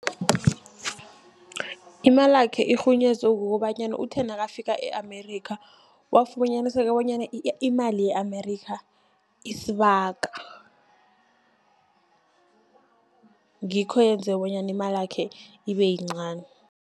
Imalakhe irhunyezwe kukobanyana uthe nakafika e-Amerika, wafunyana sele bonyana imali ye-Amerika, isibaga ngikho yenze bonyana imalakhe ibe yincani.